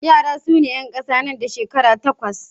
Yara su ne 'yan kasa da shekara goma sha takwas.